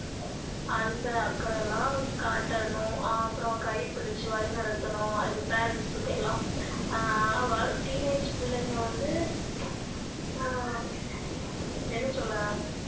அன்பு அக்கறையெல்லாம் காட்டணும் அஹ் அப்பறோம் கை பிடிச்சி வழி நடத்தணும் அது parents க்கு எல்லாம் ஆஹ் அஹ் teenage பிள்ளைங்க வந்து ஆஹ் என்ன சொல்ல